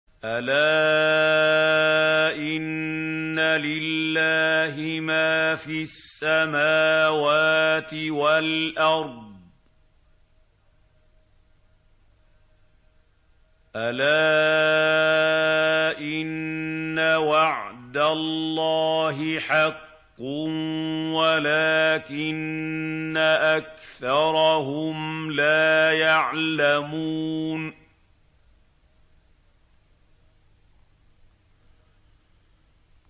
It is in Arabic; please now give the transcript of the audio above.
أَلَا إِنَّ لِلَّهِ مَا فِي السَّمَاوَاتِ وَالْأَرْضِ ۗ أَلَا إِنَّ وَعْدَ اللَّهِ حَقٌّ وَلَٰكِنَّ أَكْثَرَهُمْ لَا يَعْلَمُونَ